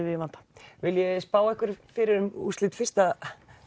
við í vanda viljið þið spá einhverju fyrir um úrslit fyrsta